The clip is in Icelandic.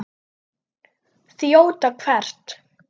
Þjóta hvert?